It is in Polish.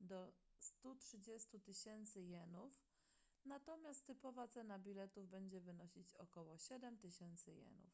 do 130 000 jenów natomiast typowa cena biletów będzie wynosić około 7000 jenów